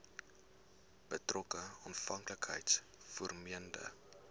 betrokke afhanklikheids vormende